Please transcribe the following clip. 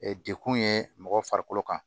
Dekun ye mɔgɔ farikolo kan